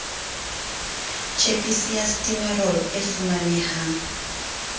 tjhepisi ya stimorol e fumanehang